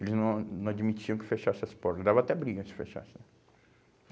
Eles não não admitiam que fechassem as portas, dava até briga se fechassem.